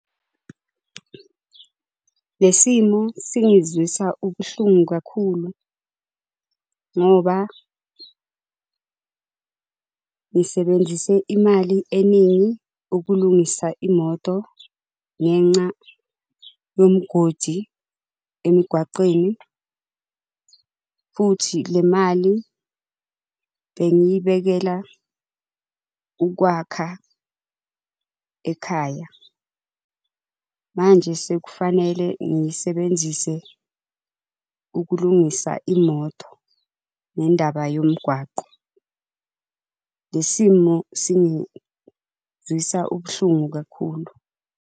Le simo singizwisa ubuhlungu kakhulu, ngoba. Ngisebenzise imali eningi ukulungisa imoto ngenxa yomugodi emgwaqeni, futhi le mali bengiyibekela ukwakha ekhaya. Manje sekufanele ngisebenzise ukulungisa imoto ngendaba yomgwaqo. Le simo singizwisa ubuhlungu kakhulu.